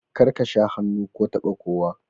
Kar ka sha hannu ko taba kowa!